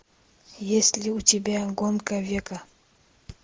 есть ли у тебя гонка века